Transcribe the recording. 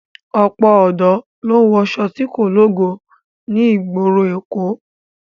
Ọ̀pọ̀ ọ̀dọ́ ló ń wọṣọ tí kò lógo ní ìgboro èkó